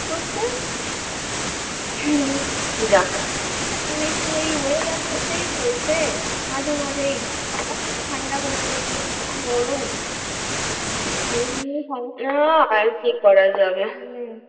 যাক এখন একটু ওই weather টা হচ্ছে মাঝে মাঝেই ঠান্ডা গরম হ্যা আর কি করা যাবে হুম